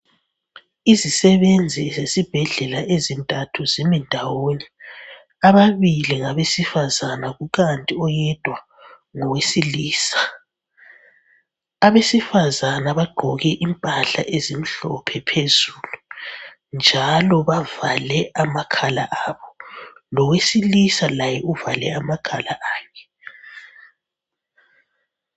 Izisebenzi zesibhedlela ezintathu zimi ndawonye. Ababili ngabesifazana kukanti oyedwa ngowesilisa. Abesifazana bagqoke impahla ezimhlophe phezulu njalo bavale amakhala abo. Lowesilisa laye uvale amakhala akhe.